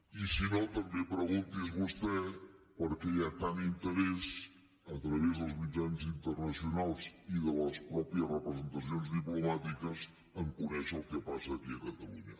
i si no també pregunti’s vostè per què hi ha tant interès a través dels mitjans internacionals i de les mateixes representacions diplomàtiques a conèixer el que passa aquí a catalunya